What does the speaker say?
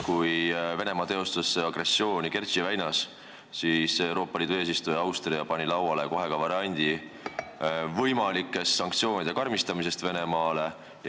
Kui Venemaa teostas agressiooni Kertši väinas, siis Euroopa Liidu eesistuja Austria pani kohe lauale variandi võimalikust sanktsioonide karmistamisest.